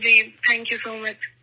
جی بہت شکریہ